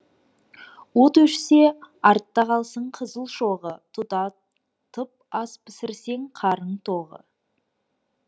от өшсе артта қалсын қызыл шоғы тұтатып ас пісірсең қарын тоғы